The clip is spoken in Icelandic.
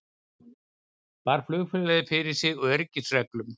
Bar flugfélagið fyrir sig öryggisreglum